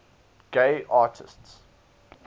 gay artists